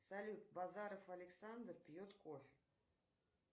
салют базаров александр пьет кофе